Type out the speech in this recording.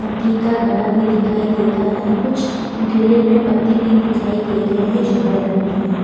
मट्टी का घड़ा भी दिखाई दे रहा है कुछ इंटीरियर में पत्ते भी दिखाई दे रहे हैं जो हरे रंग के हैं।